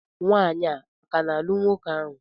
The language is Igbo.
Nwanyị a ka n'alụ nwoke ahụ?